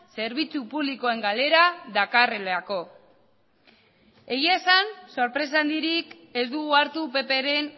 zerbitzu publikoen galera dakarrelako egian esan sorpresa handirik ez dugu hartu ppren